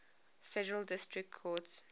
federal district courts